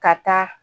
Ka taa